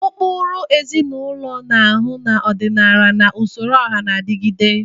Ukpuru ezinụlọ na-ahu na ọdịnala na usoro ọha na adịgide.